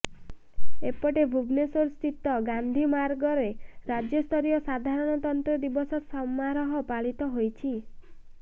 ଏପଟେ ଭୁବନେଶ୍ୱର ସ୍ଥିତ ଗାନ୍ଧି ମାର୍ଗରେ ରାଜ୍ୟସ୍ତରୀୟ ସାଧାରଣତନ୍ତ୍ର ଦିବସ ସମାରୋହ ପାଳିତ ହୋଇଛି